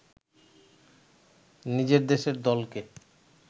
নিজের দেশের দলকে